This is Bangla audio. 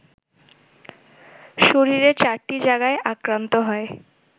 শরীরের ৪টি জায়গা আক্রান্ত হয়